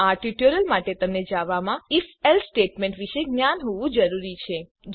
આ ટ્યુટોરીયલ માટે તમને જાવામાં ઇફ એલ્સ સ્ટેટમેન્ટ વિષે જ્ઞાન હોવું જરૂરી છે